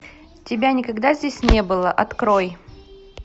тебя никогда здесь не было открой